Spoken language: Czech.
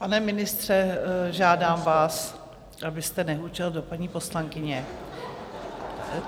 Pane ministře, žádám vás, abyste nehučel do paní poslankyně.